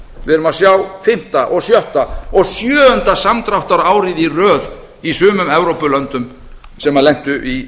erum að sjá fimmta og sjötta og sjöunda samdráttarárið í röð í sumum evrópulöndum sem rötuðu í